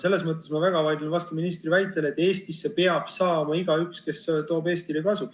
Selles mõttes ma väga vaidlen vastu ministri väitele, et Eestisse peab saama igaüks, kes toob Eestile kasu.